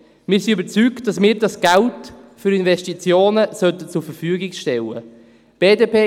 Wir sind überzeugt, dass wir das Geld für Investitionen zur Verfügung stellen sollten.